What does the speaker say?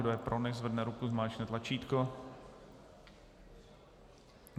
Kdo je pro, nechť zvedne ruku, zmáčkne tlačítko.